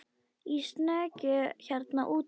Í snekkju hérna úti fyrir!